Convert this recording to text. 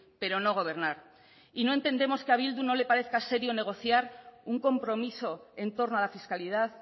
pero no gobernar y no entendemos que a bildu no le parezca serio negociar un compromiso en torno a la fiscalidad